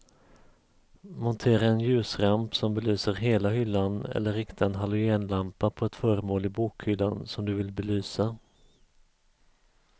Montera en ljusramp som belyser hela hyllan eller rikta en halogenlampa på ett föremål i bokhyllan som du vill belysa.